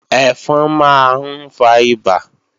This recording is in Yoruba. Ẹ̀fọn máa ń fa ìbà